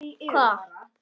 Hvað gerir hann næst?